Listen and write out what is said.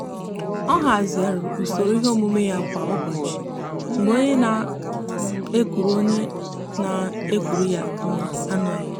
ọ hazigharịrị usoro ihe omume ya kwa ụbọchị mgbe onye na-ekuru onye na-ekuru ya nwa anoghị ya.